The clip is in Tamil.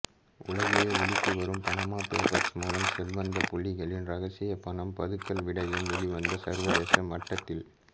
உலகையே உலுக்கி வரும் பனாமா பேப்பர்ஸ் மூலம் செல்வந்தப் புள்ளிகளின் இரகசிய பணம் பதுக்கல் விடயம் வெளிவந்து சர்வதேச மட்டத்தில்